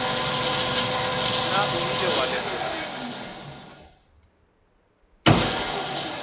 na o ile wa lekola